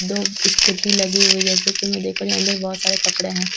दो स्कूटी लगे हुए हैं जैसा कि मैं देख पा रही हूं अंदर बहोत सारे कपड़े हैं।